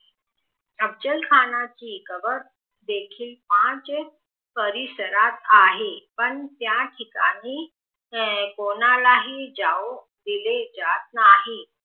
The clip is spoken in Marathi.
अफजल खानाची कंबर देखील पाच परिसरात आहे पण त्या ठिकाणी कोणालाही जाऊ दिले जात नाही